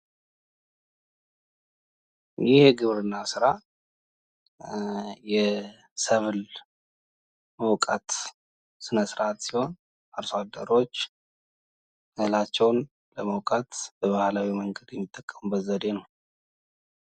ይህ የግብርና ስራ የሰብል መውቃት ስነ -ስርዓት ሲሆን አርሶ አደሮች እህላቸውን ለመውቃት በባህላዊ መንገድ የሚጠቀሙበት ዘዴ ነው።